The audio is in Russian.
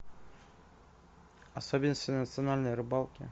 особенности национальной рыбалки